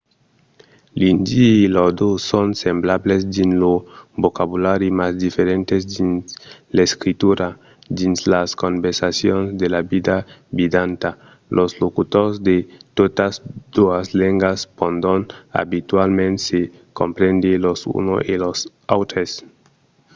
l'indi e l'ordó son semblables dins lo vocabulari mas diferents dins l'escritura; dins las conversacions de la vida vidanta los locutors de totas doas lengas pòdon abitualament se comprendre los uns e los autres